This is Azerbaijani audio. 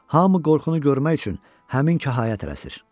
Hamı qorxunu görmək üçün həmin kahaya tələsir.